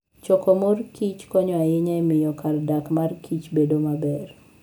Choko mor kich konyo ahinya e miyo kar dak mar kich bedo maber.